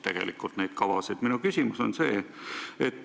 Tegelikult poliitikud lõhkusid neid kavasid.